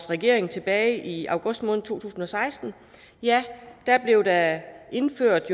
regeringen tilbage i august måned to tusind og seksten blev der indført